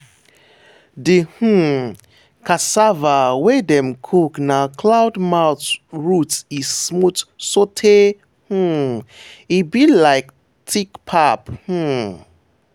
the um cassava wey dem cook na cloud mouth root e smooth sotay um e be like thick pap. um